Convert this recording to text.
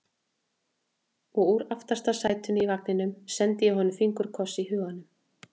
Og úr aftasta sætinu í vagninum sendi ég honum fingurkoss í huganum.